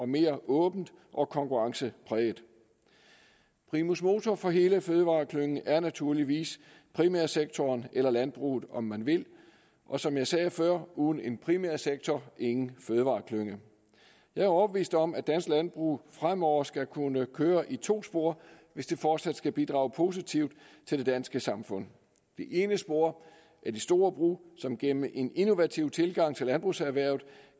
mere åbent og konkurrencepræget primus motor for hele fødevareklyngen er naturligvis primærsektoren eller landbruget om man vil og som jeg sagde før uden en primærsektor ingen fødevareklynge jeg er overbevist om at dansk landbrug fremover skal kunne køre i to spor hvis det fortsat skal bidrage positivt til det danske samfund det ene spor er de store brug som gennem en innovativ tilgang til landbrugserhvervet